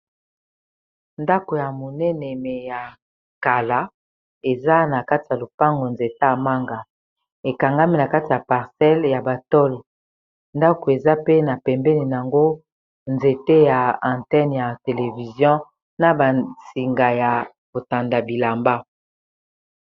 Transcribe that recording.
Ndako ya monene me ya kala eza na kati ya lopango nzete ya manga ekangami na kati ya parcele ya ba tole ndako eza pe na pembeni nango nzete ya antene ya televizion na ba singa ya botanda bilamba.